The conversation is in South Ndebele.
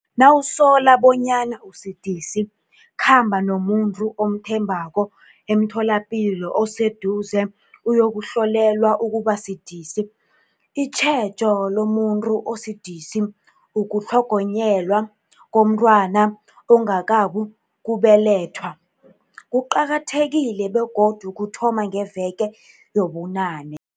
Nawusola bonyana usidisi, khamba nomuntu omthembako emtholapilo oseduze uyokuhlolelwa ukubasidisi. Itjhejo lomuntu osidisi, ukutlhogonyelwa komntwana ongakabukubelethwa, kuqakathekile begodu kuthoma ngeveke yobunane.